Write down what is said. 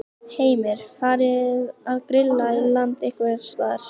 Heimir: Farið að grilla í land einhvers staðar?